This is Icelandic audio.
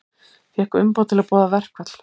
Fékk umboð til að boða verkfall